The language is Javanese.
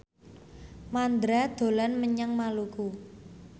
Mandra dolan menyang Maluku